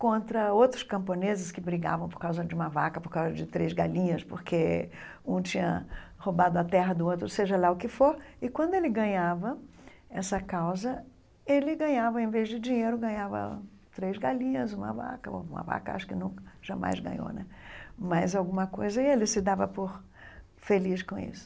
contra outros camponeses que brigavam por causa de uma vaca, por causa de três galinhas, porque um tinha roubado a terra do outro, seja lá o que for, e, quando ele ganhava essa causa, ele ganhava, em vez de dinheiro, ganhava três galinhas, uma vaca, uma vaca acho que nunca, jamais ganhou né mais alguma coisa, e ele se dava por feliz com isso.